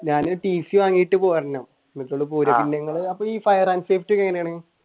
ഞാൻ tc വാങ്ങീട്ട് പോരെണ് അപ്പ ഈ fire and safety എങ്ങനെയാണ്?